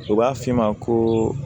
U b'a f'i ma ko